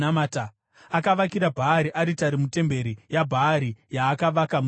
Akavakira Bhaari aritari mutemberi yaBhaari yaakavaka muSamaria.